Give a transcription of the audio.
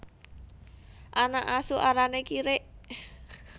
Anak asu arané kirik